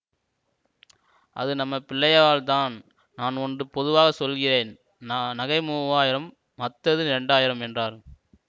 அது நம்ம பிள்ளையவாள்தான் நான் ஒன்று பொதுவாக சொல்லுகிறேன் ந நகை மூவாயிரம் மத்தது ரெண்டாயிரம் என்றார்